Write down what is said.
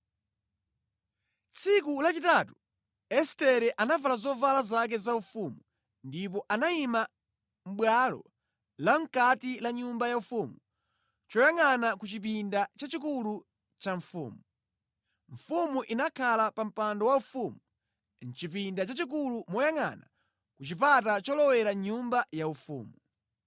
Tsiku lachitatu Estere anavala zovala zake zaufumu ndipo anayima mʼbwalo la mʼkati la nyumba yaufumu choyangʼana ku chipinda chachikulu cha mfumu. Mfumu inakhala pa mpando waufumu mʼchipinda chachikulu moyangʼana ku chipata cholowera mʼnyumba yaufumu.